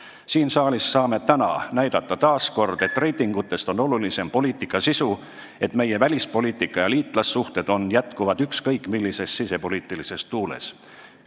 Saame siin saalis taas kord näidata, et reitingutest olulisem on poliitika sisu, et meie senine välispoliitika suund ja liitlassuhted jätkuvad ükskõik millises sisepoliitilises tuules.